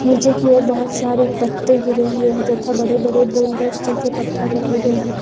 नीचे की ओर बहोत सारे पत्ते गिरे हुए हैं तथा बड़े बड़े बोल्डर्स जैसे पत्थर रखे गए हैं।